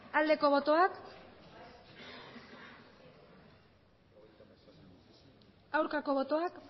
aldeko botoak aurkako botoak